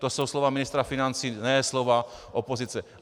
To jsou slova ministra financí, ne slova opozice.